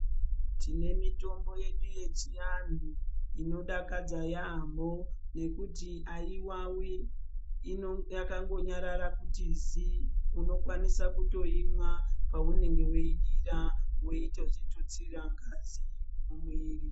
Tine mitombo yedu yechianhu inodakadza yaamho nekuti haiwawi, yakangonyarara kuti zii. Unokwanisa kutoimwa paunenge weidira weitozvitutsira ngazi mumuiri.